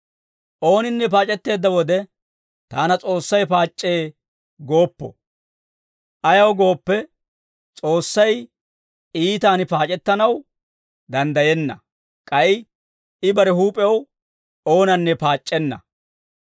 Ooninne paac'etteedda wode, «Taana S'oossay paac'c'ee» gooppo. Ayaw gooppe, S'oossay iitan paac'ettanaw danddayenna; k'ay I bare huup'ew oonanne paac'c'enna.